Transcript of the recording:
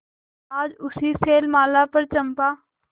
आज उसी शैलमाला पर चंपा